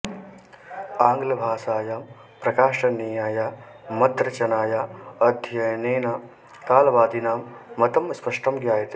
आङ्गलभाषायां प्रकाशनीयाया मद्रचनाया अध्ययनेन कालवादिनां मतं स्पष्टं ज्ञायते